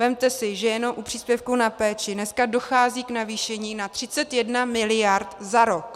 Vezměte si, že jenom u příspěvku na péči dneska dochází k navýšení na 31 miliard za rok.